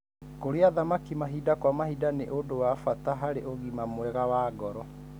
Kũrĩa thamaki mahinda kwa mahinda nĩ ũndu wa bata harĩ ũgima mwega wa ngoro.